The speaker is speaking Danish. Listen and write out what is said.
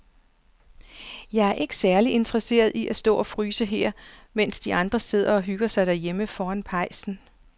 Jeg er ikke særlig interesseret i at stå og fryse her, mens de andre sidder og hygger sig derhjemme foran pejsen.